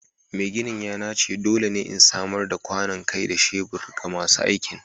Mai gini ya nace dole ne in samar da kwanon kai da shebur ga masu aikin